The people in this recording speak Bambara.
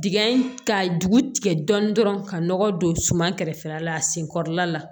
Dingɛ in ka dugu tigɛ dɔɔnin dɔrɔn ka nɔgɔ don suman kɛrɛfɛla la a sen kɔrɔla la